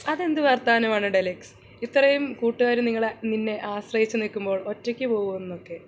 അതെന്തു വർത്താനം ആണ് ടെലക്സ് ഇത്രയും കൂട്ടുകാർ നിങ്ങളെ നിന്നെ ആശ്രയിച്ചു നിൽക്കുമ്പോൾ ഒറ്റയ്ക്ക് പോവുന്നൊക്കെ